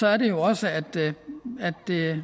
er det jo også at